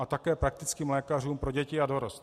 A také praktickým lékařům pro děti a dorost.